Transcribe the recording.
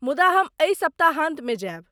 मुदा हम एहि सप्ताहान्तमे जायब।